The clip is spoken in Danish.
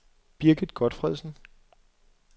Birgit Gotfredsen